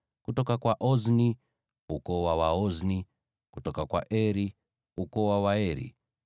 kutoka kwa Ozni, ukoo wa Waozni; kutoka kwa Eri, ukoo wa Waeri;